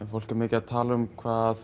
fólk er mikið að tala um hvað